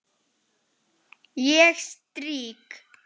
Ég strýk.